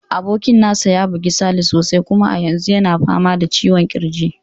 Abokin nasa ya buge Sale sosai, kuma a yanzu yana fama da ciwon kirji.